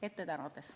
Ette tänades.